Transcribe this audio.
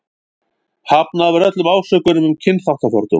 Hafnað var öllum ásökunum um kynþáttafordóma.